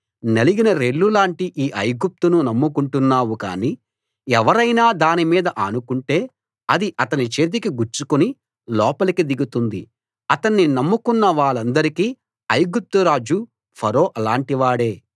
నలిగిన రెల్లులాంటి ఈ ఐగుప్తును నమ్ముకుంటున్నావు కాని ఎవరైనా దాని మీద ఆనుకుంటే అది అతని చేతికి గుచ్చుకుని లోపలికి దిగుతుంది అతన్ని నమ్ముకున్న వాళ్ళందరికీ ఐగుప్తురాజు ఫరో అలాంటివాడే